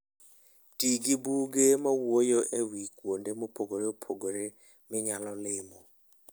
Ti gi buge mawuoyo e wi kuonde mopogore opogore minyalo limo.